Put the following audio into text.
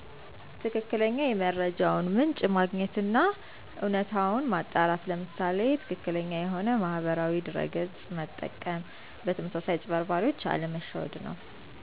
ትክክለኛ የመረጃውን ምንጭ ማግኘት አና እውነታውን ማጣራት ለምሳሌ ትክክለኛውን የሆነ ማህበራዊ ድረ ገፅ መጠቀም በተመሳሳይ አጭበርባሪዎች አለመሸወድ ነው